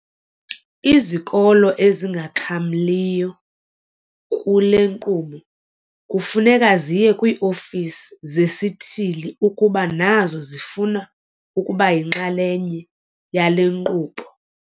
Uthi izikolo ezingaxhamliyo kule nkqubo kufuneka ziye kwii-ofisi zesithili ukuba nazo zifuna ukuba yinxalenye yale nkqubo.